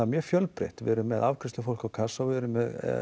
mjög fjölbreytt við erum með afgreiðslufólk á kassa og við erum með